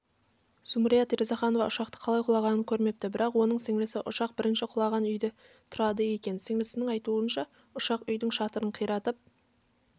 зумрият резаханова ұшақтың қалай құлағанын көрмепті бірақ оның сіңлісі ұшақ бірінші құлаған үйде тұрады екен сіңлісінің айтуынша ұшақ үйдің шатырын қиратып